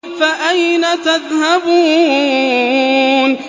فَأَيْنَ تَذْهَبُونَ